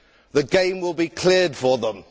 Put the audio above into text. The game will be cleared for them.